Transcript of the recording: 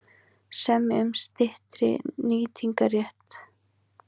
Semja um styttri nýtingarrétt